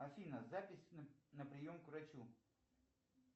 афина запись на прием к врачу